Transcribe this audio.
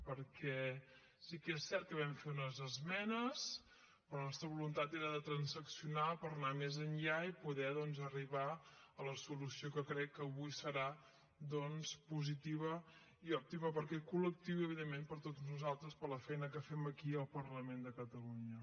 perquè sí que és cert que vam fer unes esmenes però la nostra voluntat era de transaccionar per anar més enllà i poder doncs arribar a la solució que crec que avui serà positiva i òptima per a aquest col·lectiu i evidentment per a tots nosaltres per la feina que fem aquí al parlament de catalunya